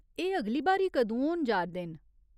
एह् अगली बारी कदूं होन जा'रदे न ?